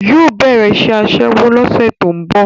Yóò bẹ̀rẹ̀ iṣẹ́ Aṣẹ́wó lọ́sẹ̀ tó ń bọ̀